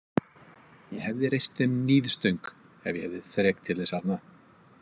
Ég hefði reist þeim níðstöng ef ég hefði þrek til þess arna.